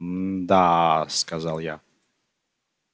мда сказал я